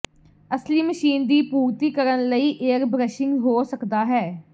ਅਸਲੀ ਮਸ਼ੀਨ ਦੀ ਪੂਰਤੀ ਕਰਨ ਲਈ ਏਅਰਬ੍ਰਸ਼ਿੰਗ ਹੋ ਸਕਦਾ ਹੈ